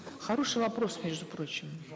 хороший вопрос между прочим